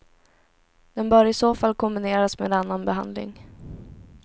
Den bör i så fall kombineras med annan behandling.